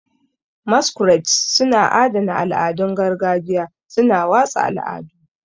Masquerades suna adana al'adun gargajiya, suna watsa al'adu.